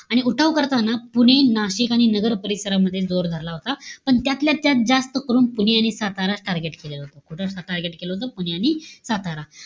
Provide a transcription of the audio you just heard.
आणि उठाव करताना, पुणे, नासिक आणि नगर परिसरामध्ये जोर धरला होता. पण त्यातल्या त्यात जास्त करून पुणे आणि सातारा target केलेलं होतं. कुठे जास्त target केलं होतं? पुणे आणि सातारा.